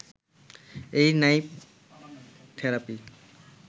এই নাইফ থেরাপির